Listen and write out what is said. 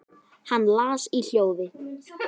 Hann las í hljóði